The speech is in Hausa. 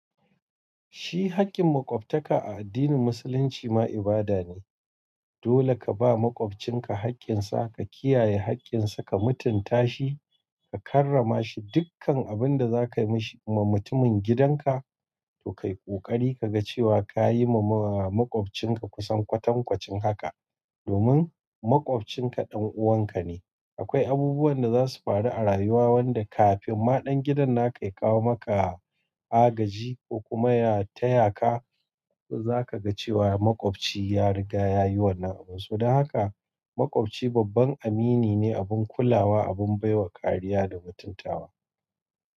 Shi hakkin makwabta a addinin musulunci ma ibada ne. Dole ka ba makwabcinka hakkin sa, ka kiyaye hakkin sa, ka mutunta shi, ka karrama shi dukkan abinda za ka yi ma mutumin gidanka to kai kokari ka ga cewa ka yi wa makwabcinka kusan kwatankwacin haka. Domin makwabcinka ɗan uwanka ne. Akwai abubuwan da za su faru a rayuwa wanda kafin ma ɗan gidan na ka ya kawo maka agaji ko kuma ya taya ka, zaka ga cewa makwabci ya riga ya yi wannan abun. To don haka makwabci babban amini ne, abun kulawa, abun bai wa kariya da mutuntawa.